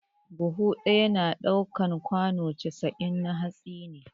Buhu ɗaya na ɗaukan kwano casa'in na hatsi ne